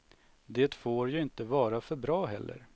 Det får ju inte vara för bra heller.